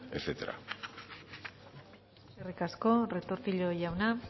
etcétera eskerrik asko retortillo jauna